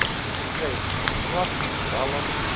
вячеслав усталов